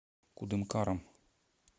кудымкаром